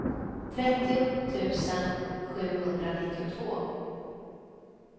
trettio tusen sjuhundranittiotvå